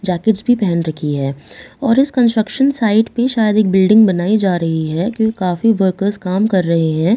जैक्टिस भी पहन रखी है और इस कंस्ट्रक्शन साइट पे शायद एक बिल्डिंग बनाई जा रही है क्यों काफ़ी वर्कर्स काम कर रहे हैं और--